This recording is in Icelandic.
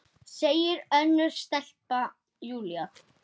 Seinna, segi ég og glotti.